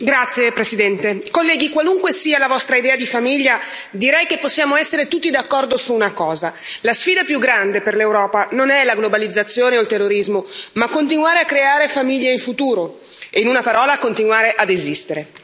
Signora Presidente, onorevoli colleghi, qualunque sia la vostra idea di famiglia, direi che possiamo essere tutti d'accordo su una cosa la sfida più grande per l'Europa non è la globalizzazione o il terrorismo, ma continuare a creare famiglie in futuro, in una parola continuare ad esistere.